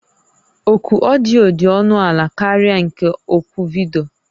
Oku odiyo dị ọnụ ala karịa nke oku vidiyo